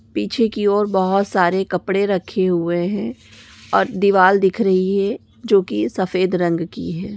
पीछे की ओर बहुत सारे कपड़े रखे हुए है और दीवार दिख रही है जो की सफ़ेद रंग की है।